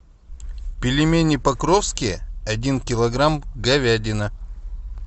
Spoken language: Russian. пельмени покровские один килограмм говядина